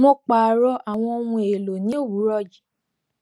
mo pààrọ àwọn ohun èèlò ní òwúrọ yìí